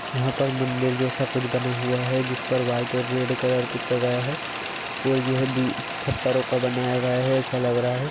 यहाँ पर मंदिर जैसा कुछ बना हुआ है जिस पर व्हाइट और रेड कलर कुछ लगाया है और ये दी पत्थरों का बनाया गया है ऐसा लग रहा है।